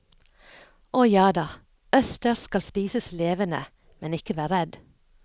Og jada, østers skal spises levende, men ikke vær redd.